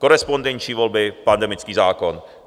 Korespondenční volby, pandemický zákon.